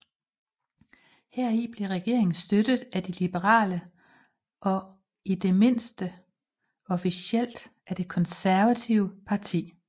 Heri blev regeringen støttet af de liberale og i det mindste officielt af det konservative parti